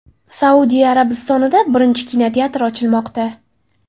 Saudiya Arabistonida birinchi kinoteatr ochilmoqda.